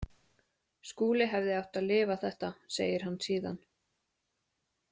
Skúli hefði átt að lifa þetta, segir hann síðan.